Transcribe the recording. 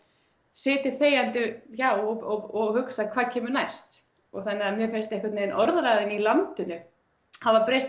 setið þegjandi hjá og hugsað hvað kemur næst þannig að mér finnst einhvern veginn orðræðan í landinu hafa breyst